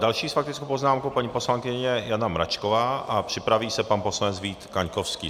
Další s faktickou poznámkou paní poslankyně Jana Mračková a připraví se pan poslanec Vít Kaňkovský.